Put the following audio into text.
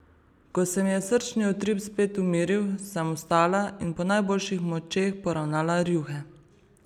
Ko se mi je srčni utrip spet umiril, sem vstala in po najboljših močeh poravnala rjuhe.